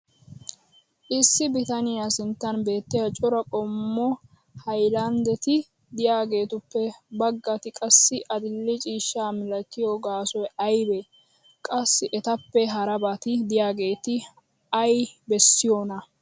issi bitaniya sinttan beetiya cora qommo hayllandetti diyaagetuppe bagatti qassi adil'e ciishsha milatiyo gaasoy aybee? qassi etappe harabati diyaageeti ay bessiyoonaa?